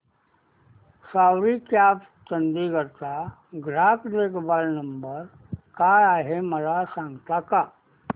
सवारी cabs Chandigarh चा ग्राहक देखभाल नंबर काय आहे मला सांगता का